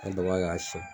An daba k'a siɲɛ